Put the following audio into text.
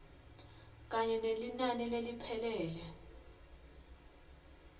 kanye nelinani leliphelele